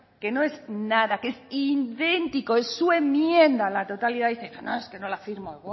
que no es nada que es idéntico es su enmienda a la totalidad dice no no es que no la firmo